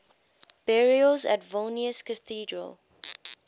burials at vilnius cathedral